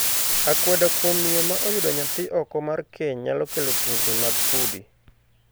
Akweda kuom miyo ma oyudo nyathi oko mar keny nyalo kelo tungni mag udi.